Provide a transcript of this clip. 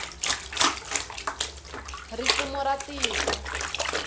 ri fumo ra tiko